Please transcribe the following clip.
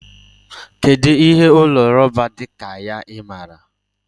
Kedụ ihe ụlọ rọba dị ka ya? Ị maara?